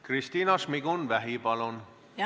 Kristina Šmigun-Vähi, palun!